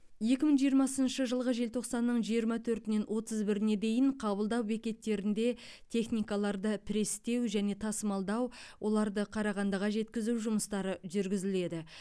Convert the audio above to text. екі мың жиырмасыншы жылғы желтоқсанның жиырма төртінен отыз біріне дейін қабылдау бекеттерінде техникаларды престеу және тасымалдау оларды қарағандыға жеткізу жұмыстары жүргізіледі